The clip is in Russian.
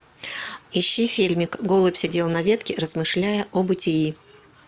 ищи фильмик голубь сидел на ветке размышляя о бытии